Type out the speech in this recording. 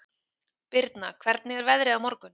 Birna, hvernig er veðrið á morgun?